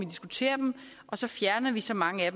diskuterer dem og så fjerner vi så mange af